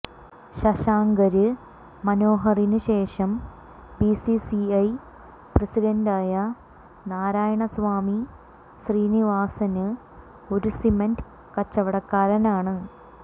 ശശാങ്കര് മനോഹറിന് ശേഷം ബിസിസിഐ പ്രസിഡന്റായ നാരായണസ്വാമി ശ്രീനിവാസന് ഒരു സിമന്റ് കച്ചവടക്കാരനാണ്